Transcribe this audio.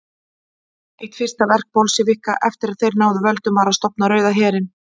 Eitt fyrsta verk Bolsévíka eftir að þeir náðu völdum var að stofna Rauða herinn.